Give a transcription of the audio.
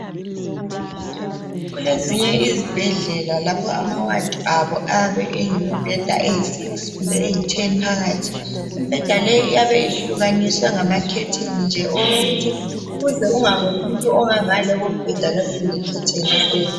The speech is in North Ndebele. Kulezinye izibhedlela lapho ama ward abo ayabe elemibheda eyisithupha kumbe elitshumi phakathi. Imbheda iyabe ihlukaniswe ngamakhetheni nje owokuthi ukuze ungaboni umuntu ongangale kombheda kuyabe kule khetheni elinye.